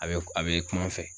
A bɛ a bɛ kuma n fɛ.